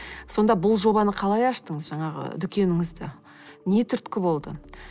сонда бұл жобаны қалай аштыңыз жаңағы дүкеніңізді не түрткі болды